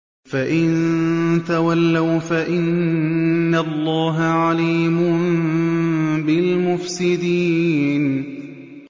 فَإِن تَوَلَّوْا فَإِنَّ اللَّهَ عَلِيمٌ بِالْمُفْسِدِينَ